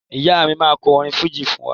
Ìyá mi máa kọ orin fújì fún wa